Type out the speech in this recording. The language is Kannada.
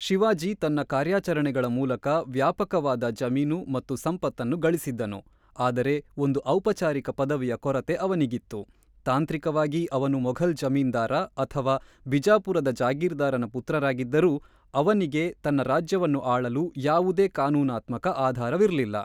ಶಿವಾಜಿ ತನ್ನ ಕಾರ್ಯಾಚರಣೆಗಳ ಮೂಲಕ ವ್ಯಾಪಕವಾದ ಜಮೀನು ಮತ್ತು ಸಂಪತ್ತನ್ನು ಗಳಿಸಿದ್ದನು, ಆದರೆ ಒಂದು ಔಪಚಾರಿಕ ಪದವಿಯ ಕೊರತೆ ಅವನಿಗಿತ್ತು ; ತಾಂತ್ರಿಕವಾಗಿ ಅವನು ಮೊಘಲ್ ಜಮೀನ್ದಾರ ಅಥವಾ ಬಿಜಾಪುರದ ಜಾಗೀರ್ದಾರನ ಪುತ್ರರಾಗಿದ್ದರೂ ಅವನಿಗೆ ತನ್ನ ರಾಜ್ಯವನ್ನು ಆಳಲು ಯಾವುದೇ ಕಾನೂನಾತ್ಮಕ ಆಧಾರವಿರಲಿಲ್ಲ.